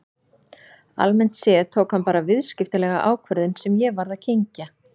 Almennt séð tók hann bara viðskiptalega ákvörðun sem ég varð að kyngja.